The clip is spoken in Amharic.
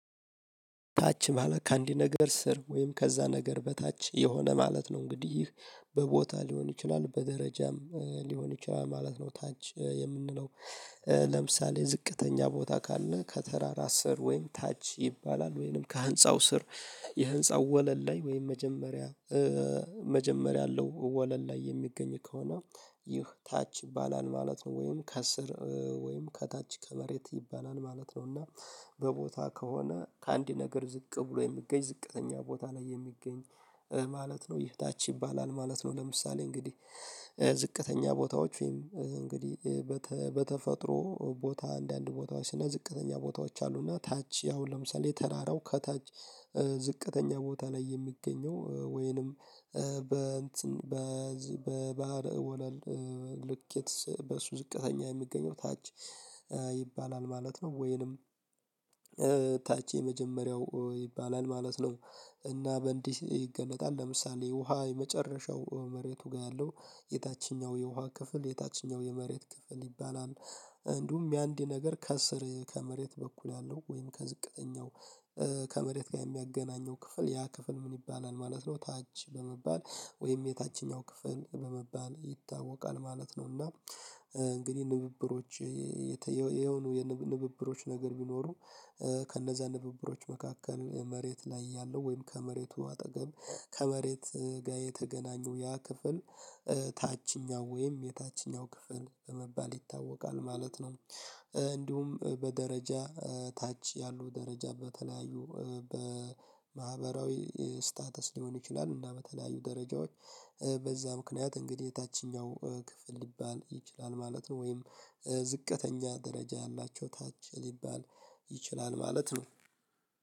ታች ማለት ከአንዲ ነገር ስር ወይም ከዛ ነገር በታች የሆነ ማለት ነው እንግዲህ በቦታ ሊሆን ይችላል በደረጃም ሊሆን ይችላል ማለት ነው። ታች የምንለው። ለምሳሌ ዝቅተኛ ቦታ ካለ ከተራራ ስር ወይም ታች ይባላል ወይንም ከህንፃው ስር። የህንፃው ወለል ላይ ወይም መጀመሪያ መጀመሪያ አለው ወለል ላይ የሚገኝ ከሆነ ይህ ታች ይባላል ማለት ነው። ወይም ከስር ወይም ከታች ከመሬት ይባላል ማለት ነው። እና በቦታ ከሆነ ከአንድ ነገር ዝቅ ብሎ የሚገኝ ዝቅተኛ ቦታ ላይ የሚገኝ ማለት ነው። ይህ ታች ይባላል ማለት ነው። ለምሳሌ እንግዲህ ዝቅተኛ ቦታዎች ወይም እንግዲህ በተፈጥሮ ቦታ አንዳንድ ቦታዎች ዝቅተኛ ቦታዎች አሉና ታች ያው ለምሳሌ የተራራው ከታች ዝቅተኛ ቦታ ላይ የሚገኘው ወይንም በእንትን በዚህ በባህር ወለል ልኬት በሱ ዝቅተኛ የሚገኘው ታች ይባላል ማለት ነው ወይንም ታች የመጀመሪያው ይባላል ማለት ነው። እና በእንዲህ ይገለጣል ለምሳሌ ውሃ የመጨረሻው መሬቱ ጋር ያለው የታችኛው የውሃ ክፍል የታችኛው የመሬት ክፍል ይባላል። እንዲሁም የአንድ ነገር ከስር ከመሬት በኩል ያለው ወይም ከዝቅተኛው ከመሬት ጋር የሚያገናኘው ክፍል ያ ክፍል ምን ይባላል ማለት ነው? ታች በመባል ወይም የታችኛው ክፍል በመባል ይታወቃል ማለት ነው። እና እንግዲህ ንብብሮች የሆኑ የንብብሮች ነገር ቢኖሩ ከነዛ ንብብሮች መካከል መሬት ላይ ያለው ወይም ከመሬቱ አጠገብ ከመሬት ጋር የተገናኙ ያ ክፍል ታችኛው ወይም የታችኛው ክፍል በመባል ይታወቃል ማለት ነው። እንዲሁም በደረጃ ታች ያሉ ደረጃ በተለያዩ በማህበራዊ ስታተስ ሊሆን ይችላል እና በተለያዩ ደረጃዎች በዛ ምክንያት እንግዲህ የታችኛው ክፍል ሊባል ይችላል ማለት ነው። ወይም ዝቅተኛ ደረጃ ያላቸው ታች ሊባል ይችላል ማለት ነው።